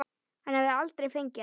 Hann hefði aldrei fengið það.